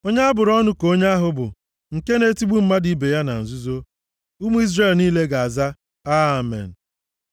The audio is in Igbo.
“Onye a bụrụ ọnụ ka onye ahụ bụ, nke na-etigbu mmadụ ibe ya na nzuzo.” Ụmụ Izrel niile ga-aza, “Amen.”